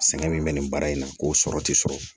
Sɛgɛn min bɛ nin baara in na k'o sɔrɔ tɛ sɔrɔ